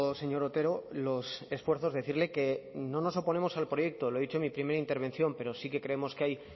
señor otero los esfuerzos decirle que no nos oponemos al proyecto lo he dicho en mi primera intervención pero sí que creemos que hay